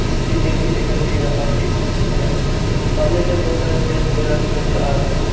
भी दिखाई दे रहा है इस तस्वीर पे हमें सामने में बहुत सारा पेड़ पौधा भी नज़र आ रहा है।